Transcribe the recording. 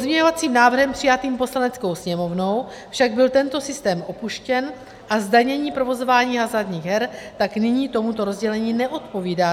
Pozměňovacím návrhem přijatým Poslaneckou sněmovnou však byl tento systém opuštěn a zdanění provozování hazardních her tak nyní tomuto rozdělení neodpovídá.